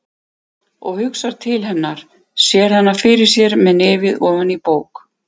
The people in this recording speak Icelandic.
Og hugsar til hennar, sér hana fyrir sér með nefið ofan í bók.